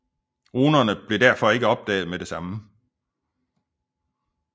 Runerne blev derfor ikke opdaget med det samme